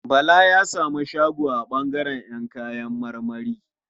Bala ya samu shago a ɓangaren ƴan kayan marmari.